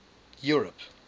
europe